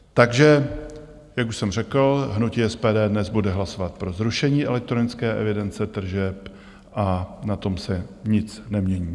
Takže jak už jsem řekl, hnutí SPD bude dnes hlasovat pro zrušení elektronické evidence tržeb a na tom se nic nemění.